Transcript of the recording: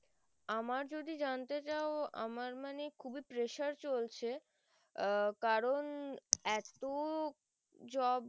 আমার যদি জানতে চাও আমার মানে খুবই pressure চলছে আহ কারণ এত job